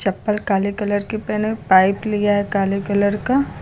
चप्पल काले कलर की पहने पाइप लिया है काले कलर का।